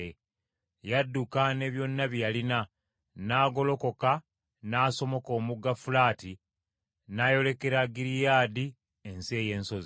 Yadduka ne byonna bye yalina, n’agolokoka n’asomoka omugga Fulaati, n’ayolekera Giriyaadi ensi ey’ensozi.